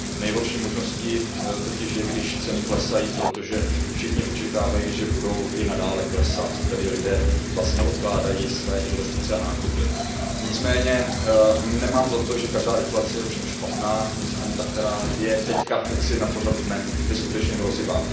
Nejhorší možností totiž je, když ceny klesají, protože všichni očekávají, že budou i nadále klesat, tedy i lidé odkládají své investice a nákupy. Nicméně nemám za to, že každá deflace je špatná, nicméně ta, která je teď jaksi na pořadu dne, je skutečně hrozivá.